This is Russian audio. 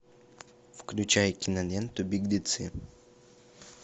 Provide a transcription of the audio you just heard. включай киноленту беглецы